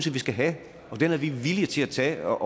vi skal have og den er vi villige til at tage